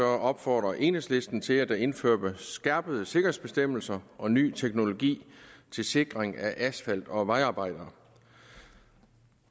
opfordrer enhedslisten til at der indføres skærpede sikkerhedsbestemmelser og ny teknologi til sikring af asfalt og vejarbejdere